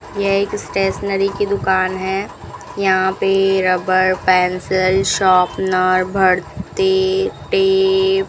यह एक स्टेशनरी की दुकान है यहां पे रबर पेंसिल शॉपनर भड़ते टेप --